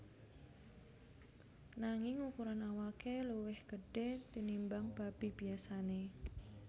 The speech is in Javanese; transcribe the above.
Nanging ukuran awake luwih gedhe tinimbang babi biyasane